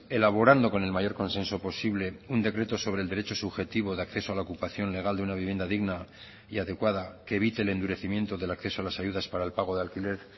elaborando con el mayor consenso posible un decreto sobre el derecho subjetivo de acceso a la ocupación legal de una vivienda digna y adecuada que evite el endurecimiento del acceso a las ayudas para el pago de alquiler